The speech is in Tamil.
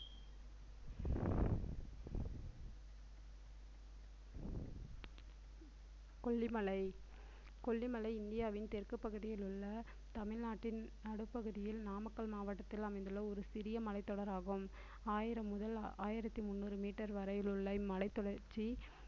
கொல்லிமலை கொல்லிமலை இந்தியாவின் தெற்குப் பகுதியில் உள்ள தமிழ்நாட்டின் நடுப்பகுதியில் நாமக்கல் மாவட்டத்தில் அமைந்துள்ள ஒரு சிறிய மலைத்தொடராகும் ஆயிரம் முதல் ஆயிரத்தி முந்நூறு meter வரையிலுள்ள இம்மலைத் தொடர்ச்சி